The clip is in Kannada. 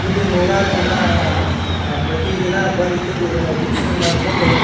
ಇಲ್ಲಿ ನೂರಾರು ಜನ ಅಹ್ ಪ್ರತಿದಿನ ಬಂದಿಕೇಂದ್ ಇದನ್ನ ವೀಕ್ಷಣೆ ಮಾಡಕೊಂಡು.